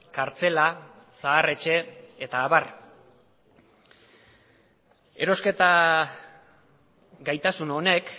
kartzela zaharretxe eta abar erosketa gaitasun honek